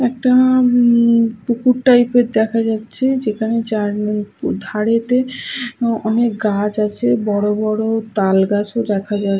এটা পুকুর টাইপের দেখা যাচ্ছে যেখানে যার ধারে তে অনেক গাছ আছে বড় বড় তাল গাছও দেখা যাচ্ছে।